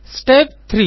step 3